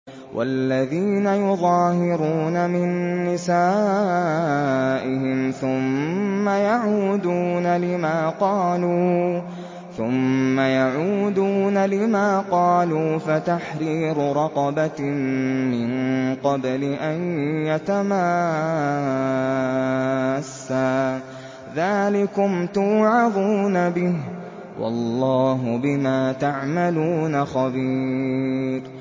وَالَّذِينَ يُظَاهِرُونَ مِن نِّسَائِهِمْ ثُمَّ يَعُودُونَ لِمَا قَالُوا فَتَحْرِيرُ رَقَبَةٍ مِّن قَبْلِ أَن يَتَمَاسَّا ۚ ذَٰلِكُمْ تُوعَظُونَ بِهِ ۚ وَاللَّهُ بِمَا تَعْمَلُونَ خَبِيرٌ